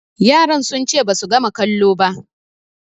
Yaran sun ce basu gama kalo ba